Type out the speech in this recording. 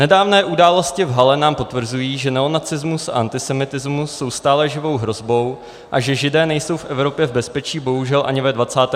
Nedávné události v Halle nám potvrzují, že neonacismus a antisemitismus jsou stále živou hrozbou a že Židé nejsou v Evropě v bezpečí bohužel ani ve 21. století.